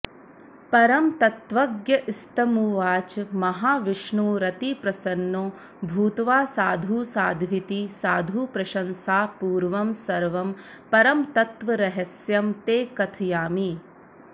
परमतत्त्वज्ञस्तमुवाच महाविष्णुरतिप्रसन्नो भूत्वा साधुसाध्विति साधुप्रशंसापूर्वं सर्वं परमतत्त्वरहस्यं ते कथयामि